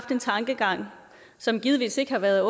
en tankegang som givetvis ikke har været